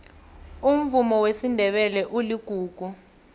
umvumo wesindebele uligugu